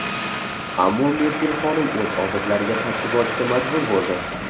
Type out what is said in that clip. Ammo Merkel xonim o‘z odatlariga qarshi borishga majbur bo‘ldi.